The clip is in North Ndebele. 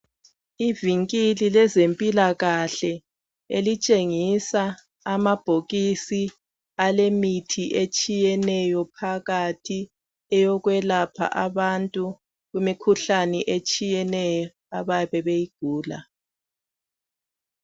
Ivingili lezemphilakahle elitshengiza amabhokisi alemithi etshiyeneyo phakathi eyokwelapha abantu imikhuhlane etshiyeneyo ababe beyigula.